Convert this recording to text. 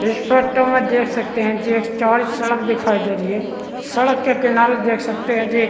इस फोटो में देख सकते है जे एक चार सड़क दिखाई दे रही है सड़क के किनारे देख सकते है जे--